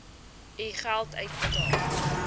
u geld uitbetaal